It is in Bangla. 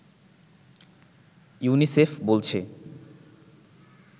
ইউনিসেফ বলছে